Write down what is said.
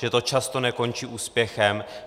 Že to často nekončí úspěchem.